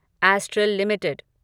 astral limited